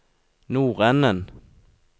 nordenden